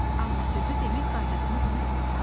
Amma sözü demək qaydasını unutma ha!